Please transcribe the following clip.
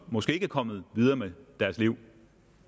måske ikke er kommet videre med deres liv